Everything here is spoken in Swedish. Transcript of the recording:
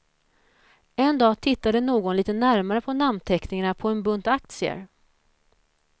En dag tittade någon litet närmare på namnteckningarna på en bunt aktier.